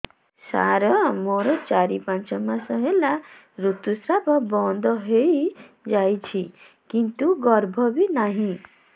ସାର ମୋର ଚାରି ପାଞ୍ଚ ମାସ ହେଲା ଋତୁସ୍ରାବ ବନ୍ଦ ହେଇଯାଇଛି କିନ୍ତୁ ଗର୍ଭ ବି ନାହିଁ